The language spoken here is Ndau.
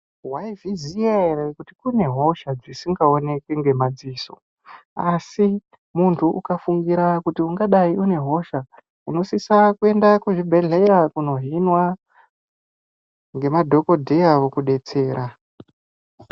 Waizviziya ere kuti kune hosha dzisingaonekwi ngemadziso? Asi muntu ukafungira kuti ungadai une hosha unosisa kuenda muzvibhedhleya kundohinwa ngemadhohodheya vokudetsera.